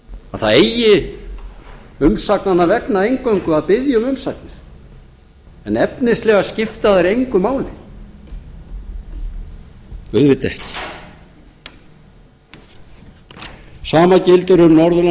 að það eigi umsagnanna vegna eingöngu að biðja um umsagnir en efnislega skipta þær engu máli auðvitað ekki sama gildir um